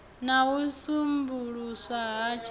na u sambuluswa ha tshiofisi